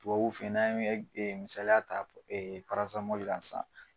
Tubabuw fɛ ye n'an misaliya ta kan sisan.